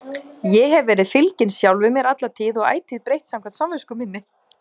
Ég hef verið fylginn sjálfum mér alla tíð og ætíð breytt samkvæmt samvisku minni.